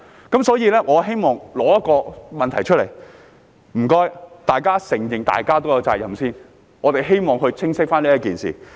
因此，我帶出這個問題，請大家承認各有責任，希望弄清這件事。